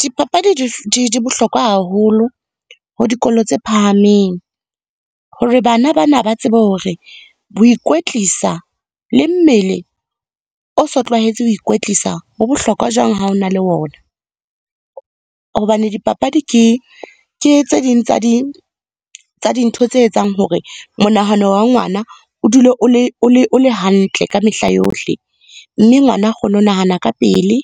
Dipapadi di bohlokwa haholo ho dikolo tse phahameng. Hore bana ba na ba tsebe hore ho ikwetlisa le mmele o so tlwaetse ho ikwetlisa ho bohlokwa jwang ha ona le ona. Hobane dipapadi, ke tse ding tsa dintho tse etsang hore monahano wa ngwana o dule o le hantle ka mehla yohle, mme ngwana a kgone ho nahana ka pele,